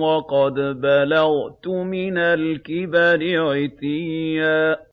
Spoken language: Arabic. وَقَدْ بَلَغْتُ مِنَ الْكِبَرِ عِتِيًّا